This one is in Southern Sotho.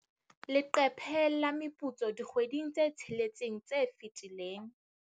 Leqephe la meputso dikgweding tse tsheletseng tse fetileng.